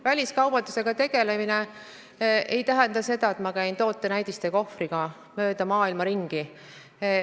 Väliskaubandusega tegelemine ei tähenda seda, et ma käin tootenäidiste kohvriga mööda maailma ringi.